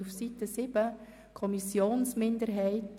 Dort steht «streichen».